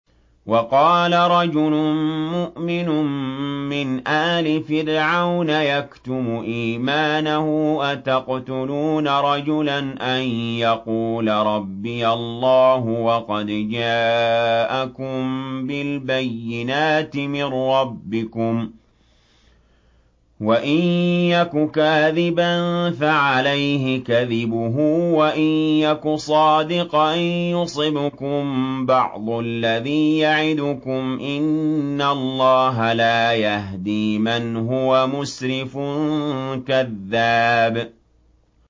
وَقَالَ رَجُلٌ مُّؤْمِنٌ مِّنْ آلِ فِرْعَوْنَ يَكْتُمُ إِيمَانَهُ أَتَقْتُلُونَ رَجُلًا أَن يَقُولَ رَبِّيَ اللَّهُ وَقَدْ جَاءَكُم بِالْبَيِّنَاتِ مِن رَّبِّكُمْ ۖ وَإِن يَكُ كَاذِبًا فَعَلَيْهِ كَذِبُهُ ۖ وَإِن يَكُ صَادِقًا يُصِبْكُم بَعْضُ الَّذِي يَعِدُكُمْ ۖ إِنَّ اللَّهَ لَا يَهْدِي مَنْ هُوَ مُسْرِفٌ كَذَّابٌ